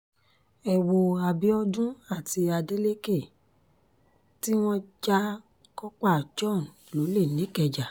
ẹ wo abiodun àti adeleke tí wọ́n ja kópa john lólè nìkẹ́jà